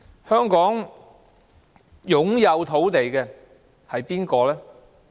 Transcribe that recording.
香港擁有土地的人是誰？